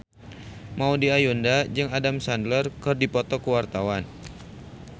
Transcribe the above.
Maudy Ayunda jeung Adam Sandler keur dipoto ku wartawan